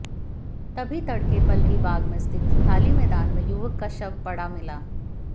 तभी तड़के पलरीबाग में स्थित खाली मैदान में युवक का शव पड़ा मिला